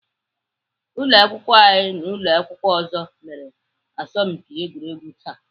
Ụlọakwụkwọ anyị na ụlọakwụkwọ ọzọ mere asọmpi egwuregwu taa